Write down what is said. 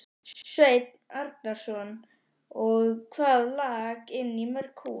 Sveinn Arnarson: Og hvað lak inn í mörg hús?